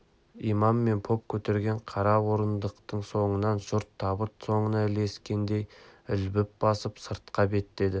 имам мен поп көтерген қара орындықтың соңынан жұрт табыт соңына ілескендей ілбіп басып сыртқа беттеді